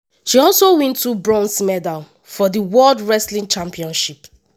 she also win two bronze medals for di world wrestling championships.